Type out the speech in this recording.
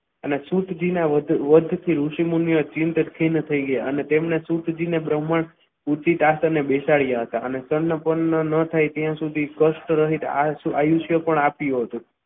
અને શુદ્ધજીના વધ થી ઋષિમુનિઓ ચિંતિત થઈ ગયા અને તેમને શુદ્ધજીએ બ્રાહ્મણ ઉચિત આસને બેસાડ્યા હતા અને તેમને ના થાય ત્યાં સુધી કષ્ટ રહિત આયુષ્ય પણ આપ્યું હતું.